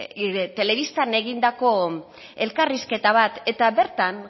telebistan egindako elkarrizketa bat eta bertan